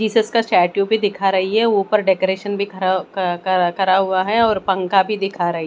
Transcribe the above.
Jesus का statue भी दिखा रही है ऊपर डेकोरेशन खरा क क करा हुआ है और पंखा भी दिखा रही --